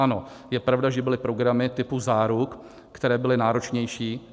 Ano, je pravda, že byly programy typu záruk, které byly náročnější.